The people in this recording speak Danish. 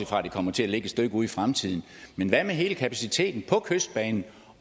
fra at det kommer til at ligge et stykke ude i fremtiden men hvad med hele kapaciteten på kystbanen